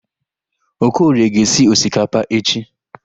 Okorie ga-esi osikapa echi.